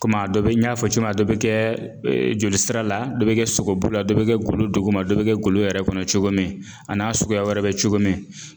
Kom'a dɔ be n y'a fɔ cogo min a dɔ be kɛɛ joli sira la, dɔ be kɛ sogobu la, dɔ be kɛ golo duguma, dɔ be kɛ golo yɛrɛ kɔnɔ cogo min a n'a suguya wɛrɛ bɛ cogo min